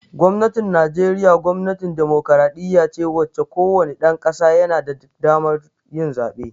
Gwamnatin Najeriya gwamnatin demokradiyya ce wacce ko wane ɗan ƙasa yana da damar yin zaɓe